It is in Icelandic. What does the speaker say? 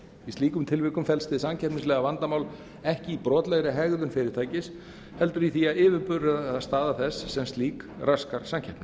í slíkum tilvikum felst hið samkeppnislega vandamál ekki í brotlegri hegðun fyrirtækis heldur í því að yfirburðastaða þess sem slík raskar samkeppni